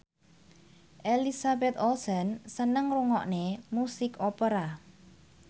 Elizabeth Olsen seneng ngrungokne musik opera